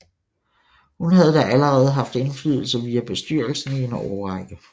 Hun havde da allerede haft indflydelse via bestyrelsen i en årrække